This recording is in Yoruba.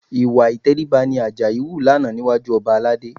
Ìwà ìtẹríba ni Àjàyí hù lánàá níwájú ọba Aládé